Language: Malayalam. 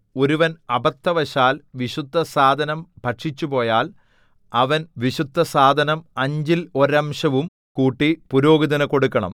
ഒരുവൻ അബദ്ധവശാൽ വിശുദ്ധസാധനം ഭക്ഷിച്ചുപോയാൽ അവൻ വിശുദ്ധസാധനം അഞ്ചിൽ ഒരംശവും കൂട്ടി പുരോഹിതനു കൊടുക്കണം